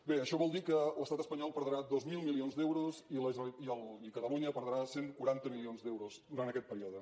bé això vol dir que l’estat espanyol perdrà dos mil milions d’euros i catalunya perdrà cent i quaranta milions d’euros durant aquest període